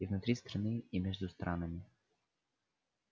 и внутри страны и между странами